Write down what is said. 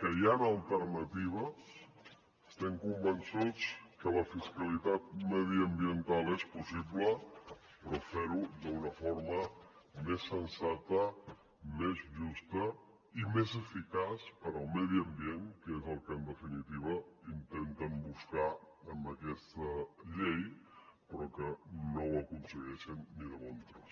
que hi han alternatives estem convençuts que la fiscalitat mediambiental és possible però fer ho d’una forma més sensata més justa i més eficaç per al medi ambient que és el que en definitiva intenten buscar amb aquesta llei però que no ho aconsegueixen ni de bon tros